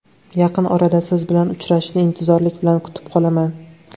Yaqin orada Siz bilan uchrashishni intizorlik bilan kutib qolaman.